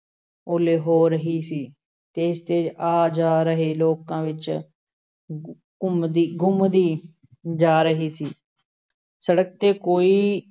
ਉਹਲੇ ਹੋ ਰਹੀ ਸੀ, ਤੇਜ਼-ਤੇਜ਼ ਆ-ਜਾ ਰਹੇ ਲੋਕਾਂ ਵਿੱਚ ਘੁੰਮਦੀ ਗੁੰਮਦੀ ਜਾ ਰਹੀ ਸੀ, ਸੜਕ 'ਤੇ ਕੋਈ